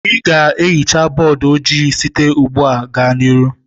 Ị ga ehicha bọdụ ojii site ugbua gaa n'ihu